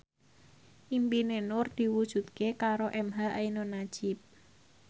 impine Nur diwujudke karo emha ainun nadjib